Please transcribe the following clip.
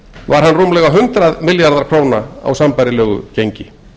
var hann rúmlega hundrað milljarðar króna á sambærilegu gengi